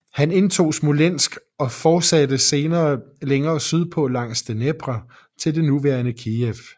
Han indtog Smolensk og fortsatte senere længere sydpå langs Dnepr til det nuværende Kijev